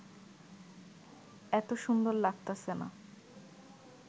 এত সুন্দর লাগতাছে না